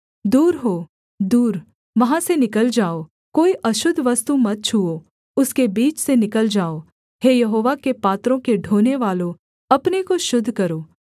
दूर हो दूर वहाँ से निकल जाओ कोई अशुद्ध वस्तु मत छूओ उसके बीच से निकल जाओ हे यहोवा के पात्रों के ढोनेवालों अपने को शुद्ध करो